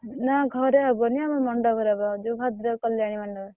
ନାଁ ଘରେ ହବନି ଆମର ମଣ୍ଡପ୍ ରେ ହବ ଯୋଉ ଭଦ୍ରକ୍ କଲ୍ୟାଣୀ ମଣ୍ଡପ୍।